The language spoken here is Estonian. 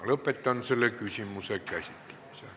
Lõpetan selle küsimuse käsitlemise.